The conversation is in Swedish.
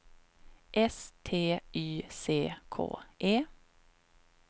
S T Y C K E